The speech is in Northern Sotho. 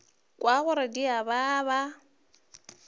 kwa gore di a baba